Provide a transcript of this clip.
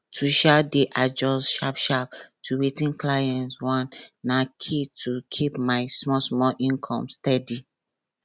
to um dey adjust sharpsharp to wetin clients want na key to keep my smallsmall income steady